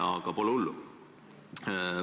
Aga pole hullu.